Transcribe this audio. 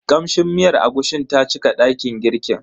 Kamshin miyar agushin ta cika dakin girkin.